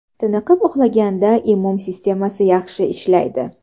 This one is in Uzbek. Tiniqib uxlaganda immun sistemasi yaxshi ishlaydi.